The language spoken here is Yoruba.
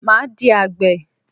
Máa di àgbè.